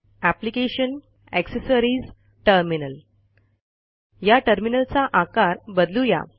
application gt accessories gt terminal या टर्मिनलचा आकार बदलू या